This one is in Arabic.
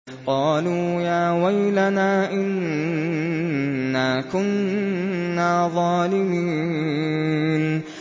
قَالُوا يَا وَيْلَنَا إِنَّا كُنَّا ظَالِمِينَ